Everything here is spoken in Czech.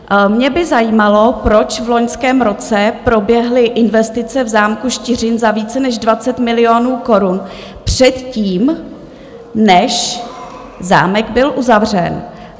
Mě by zajímalo, proč v loňském roce proběhly investice v zámku Štiřín za více než 20 milionů korun předtím, než zámek byl uzavřen.